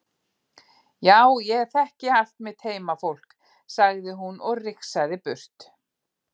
Já ég þekki allt mitt heimafólk, sagði hún og rigsaði burt.